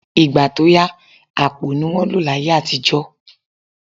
Ìgbà tó yà, àpò ni wọ́n lò láyé àtijọ́